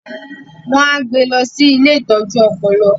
wọn á gbé lọ sí “ilé ìtọ́jú ọpọlọ ”.